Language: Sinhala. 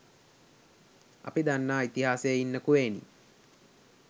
අපි දන්නා ඉතිහාසේ ඉන්න කුවේණි